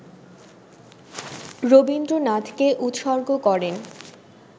রবীন্দ্রনাথকে উৎসর্গ করেন